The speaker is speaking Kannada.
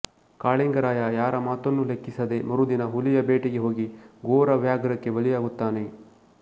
ಕಾಳಿಂಗರಾಯ ಯಾರ ಮಾತನ್ನೂ ಲೆಕ್ಕಿಸದೆ ಮರುದಿನ ಹುಲಿಯ ಬೇಟೆಗೆ ಹೋಗಿ ಘೋರ ವ್ಯಾಘ್ರಕ್ಕೆ ಬಲಿಯಾಗುತ್ತಾನೆ